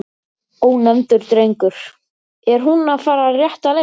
Ónefndur drengur: Er hún að fara rétta leið?